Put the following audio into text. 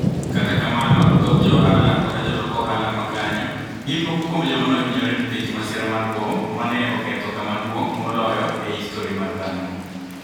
Kata kamano, thoth jo ohala koda jolok ohala ma kaniyo, gini moko kuom joma ni e ohiniyore niikech masira mar bom ma ni e oketho kama duonig' moloyo e histori mar dhano.